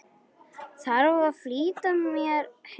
Þarf að flýta mér heim.